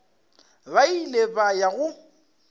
ba ile ba ya go